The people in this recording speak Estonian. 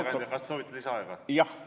Hea kõneleja, kas te soovite lisaaega?